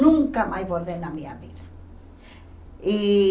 Nunca mais bordei na minha vida. E